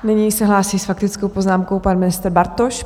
Nyní se hlásí s faktickou poznámkou pan ministr Bartoš.